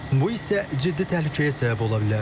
Bu isə ciddi təhlükəyə səbəb ola bilər.